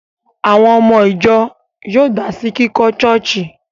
Àwọn ọmọ ìjọ yóò dá sí kíkọ́ ṣọ́ọ̀ṣì